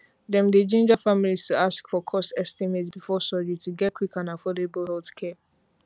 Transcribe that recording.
dem dey ginger families to ask for cost estimate before surgery to get quick and affordable healthcare